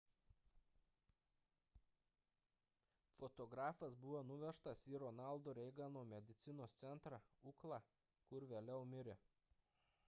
fotografas buvo nuvežtas į ronaldo reigano medicinos centrą ucla kur vėliau mirė